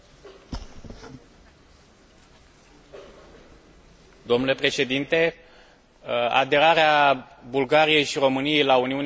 Aderarea Bulgariei și României la spațiul Schengen este foarte importantă pentru stabilitatea Uniunii Europene la granița de est.